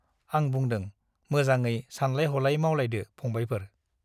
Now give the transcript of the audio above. आं बुंदों- मोजाङै सानलाय हलाय मावलायदो फंबायफोर ।